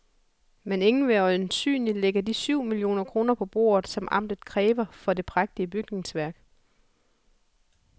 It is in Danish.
Men ingen vil øjensynligt lægge de syv millioner kroner på bordet, som amtet kræver for det prægtige bygningsværk.